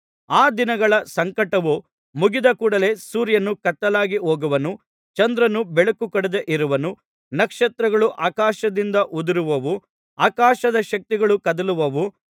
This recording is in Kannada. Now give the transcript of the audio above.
ಆ ದಿನಗಳ ಸಂಕಟವು ಮುಗಿದಕೂಡಲೆ ಸೂರ್ಯನು ಕತ್ತಲಾಗಿ ಹೋಗುವನು ಚಂದ್ರನು ಬೆಳಕು ಕೊಡದೆ ಇರುವನು ನಕ್ಷತ್ರಗಳು ಆಕಾಶದಿಂದ ಉದುರುವವು ಆಕಾಶದ ಶಕ್ತಿಗಳು ಕದಲುವವು